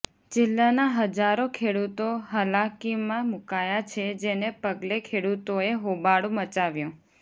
જિલ્લાના હજારો ખેડૂતો હાલાકીમાં મુકાયા છે જેને પગલે ખેડૂતોએ હોબાળો મચાવ્યો